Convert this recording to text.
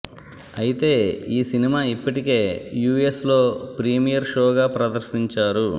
అయితే ఈ సినిమా ఇప్పటికే యూఎస్ లో ప్రిమియర్ షో గా ప్రదర్శించారు